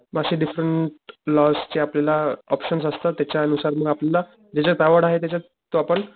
म अशे different lodge चे आपल्याला ऑपशणस त्याच्या नुसार मग आपल्याला ज्याच्यात आवड आहे त्याच्यात आपण,